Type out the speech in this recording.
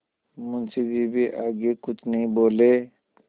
मुंशी जी भी आगे कुछ नहीं बोले